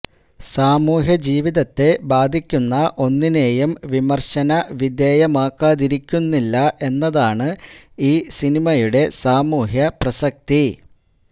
സാമൂഹ്യജീവിതത്തെ ബാധിക്കുന്ന ഒന്നിനെയും വിമർശന വിധേയമാക്കാതിരിക്കുന്നില്ല എന്നതാണ് ഈ സിനിമയുടെ സാമൂഹ്യ പ്രസക്തി